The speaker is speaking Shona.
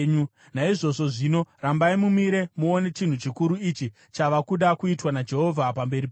“Naizvozvo zvino, rambai mumire muone chinhu chikuru ichi chava kuda kuitwa naJehovha pamberi penyu!